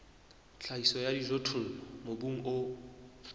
tlhahiso ya dijothollo mobung o